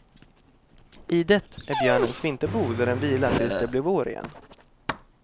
Idet är björnens vinterbo där den vilar tills det blir vår igen.